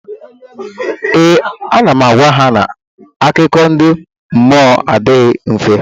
Ee, ana m agwa ha na akụkọ ndị mmụọ adịghị ife